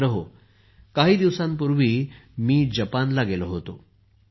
मित्रांनो काही दिवसांपूर्वी मी जपानला गेलो होतो